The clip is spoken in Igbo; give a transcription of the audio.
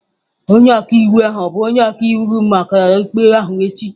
Onye ọka iwu ahụ ọ bụ onye ọka iwu gị maka ikpe ahụ echi?